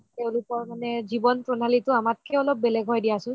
তেওঁলোকৰ মানে জীৱন প্ৰণালীটো আমাতকে অলপ বেলেগ হয় দিয়াচোন